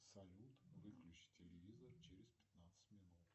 салют выключи телевизор через пятнадцать минут